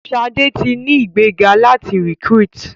Shade tí ní ìgbéga láti recruit.